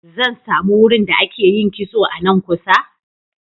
Zan sami wurin da ake yin kitso a nan kusa?